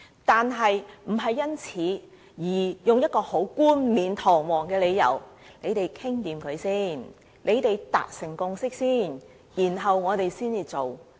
可是，這也並非是一個冠冕堂皇的理由，說大家商妥好、達成共識後，政府便會做。